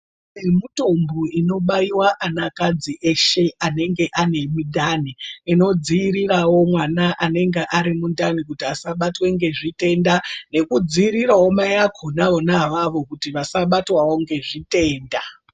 Mutombo unobaiwa ana kadzi eshe anenge ane midhani inodziiriravo mwana anenge ari mundani kuti asatwe ngezvitenda. Nekudziriravo mai akona ona avavo kuti vasabatwavo ngezvitenda.